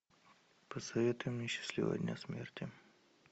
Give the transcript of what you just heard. посоветуй мне счастливого дня смерти